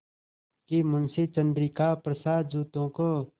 कि मुंशी चंद्रिका प्रसाद जूतों को